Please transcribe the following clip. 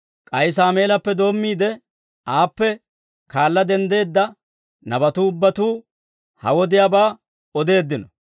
«K'ay Saameelappe doommiide, aappe kaala denddeedda nabatuu ubbatuu, ha wodiyaabaa odeeddino.